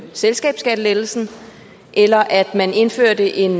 selskabsskattelettelsen eller at man indførte en